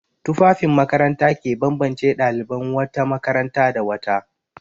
Tufafin makaranta ke bambance ɗaliban wata makaranta da wata.